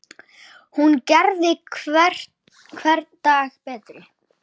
Hún gerði hvern dag betri.